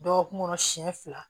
Dɔgɔkun kɔnɔ siɲɛ fila